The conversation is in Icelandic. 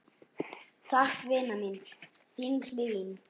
Takk, vina mín, þín Hlín.